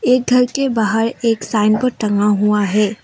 एक घर के बाहर एक साइन बोर्ड टंगा हुआ है।